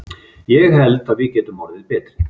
Ég held að við getum orðið betri.